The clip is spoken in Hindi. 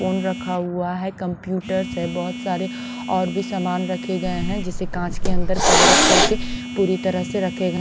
फोन रखा हुआ है कंप्यूटर्स है बहोत सारे और भी सामान रखे गए हैं जिसे कांच के अंदर कभर करके पूरी तरह से रखे गए--